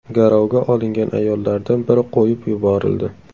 Garovga olingan ayollardan biri qo‘yib yuborildi.